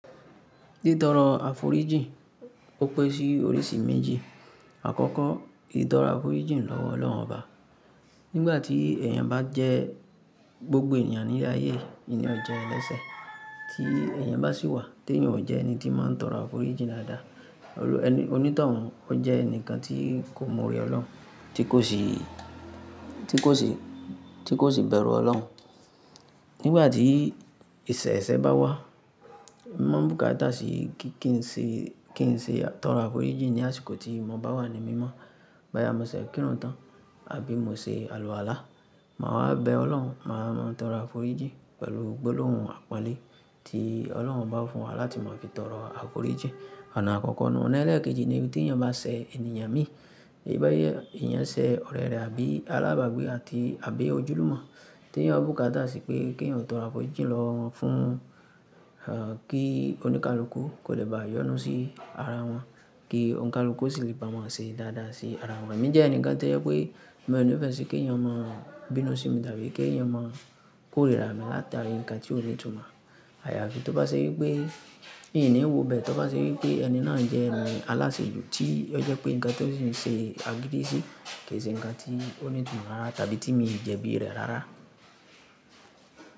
Títọrọ àforíjìn ó pẹ́ sí oríṣi méjì. Àkọ́kọ́, ìtọrọ àforíjìn lọ́wọ́ Ọlọ́run Ọba. Nígbà tí èèyàn bá jẹ́ gbogbo ènìyàn ní ayé, ìní ọjẹ́ ẹlẹ́sẹ̀ tí èèyàn bá sì wà, tí èèyàn ò jẹ́ ẹni tí máa ń tọrọ àforíjìn dáadáa. Olú ẹni, onítọ̀hún, ó jẹ́ ẹnìkan tí kò mọ orí Ọlọ́run, tí kò sì, tí kò sì, tí kò sì bẹ̀rù Ọlọ́run. Nígbà tí ìṣẹ̀ṣẹ̀ bá wá, mo búká dáàsí kí n ṣe, kí n ṣe tọrọ àforíjìn ní àsìkò tí mo bá wà ní mímọ́. Bóyá mo ṣe kírun tán àbí mo ṣe alùwàlá má wá bẹ ọlọ́hun má máa ṣe tọrọ àforíjì pẹ̀lú gbólóhùn àpọ́nlé tí ọlọ́hun ọba fún wa láti mọ fi máa tọrọ àforíjì. Ọ̀nà àkọ́kọ́ náà ó lẹ́ẹ̀kejì ni pé tí èèyàn bá ṣẹ̀ ẹni yan mí, bí èèyàn ṣe ọ̀rẹ́ rẹ̀ àbí alábàgbé àti àbí ojúlùmọ̀. Tí èèyàn búká dáàsí pé kí èèyàn tọrọ àforíjìn lọ́wọ́ fún kí oníkálukú kò lè bá yọnu sí ara wọn, kí oníkálukú sì lè pamọ́ sí dáadáa sí ara wọn. Èmi jẹ́ ẹnìkan tó jẹ́ pé mi ò ní ìfẹ́ sí kí èèyàn máa bínú sí mi tàbí kí èèyàn máa kórìíra mi látàrí nǹkan tí ó ní tùn mọ́. Àyafi tó bá ṣe wípé èèyàn ò wòbẹ́ tó bá ṣe wípé ẹni ná jẹ́ ẹni aláṣejù tí ó jẹ́ pé ǹkan tó sì ń ṣe agídí sí kì ṣe ǹkan tó ní ìtumọ̀ rárá tàbí tí mi ń jẹ̀bi rẹ̀ rárá.